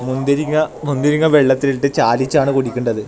മുന്തിരിങ്ങ മുന്തിരിങ്ങ വെള്ളത്തിലിട്ട് ചാലിച്ചാണ് കുടിക്കേണ്ടത്.